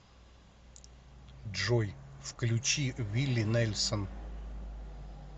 джой включи вилли нельсон